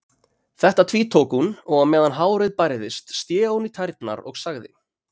Þetta tvítók hún og á meðan hárið bærðist sté hún í tærnar og sagði